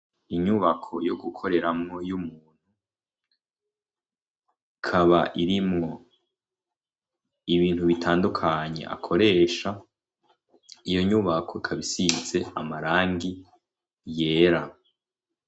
Inyubako yo gukoreramwo y'umuntu kaba iri mwo ibintu bitandukanye akoresha iyo nyubako kabisintse amarangi yera.